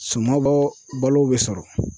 Suman balo bɛ sɔrɔ.